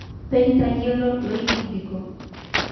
Peitayiolo loidikidiko.